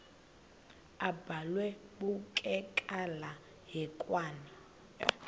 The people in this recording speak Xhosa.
abhalwe bukekela hekwane